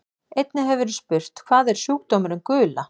Einnig hefur verið spurt: Hvað er sjúkdómurinn gula?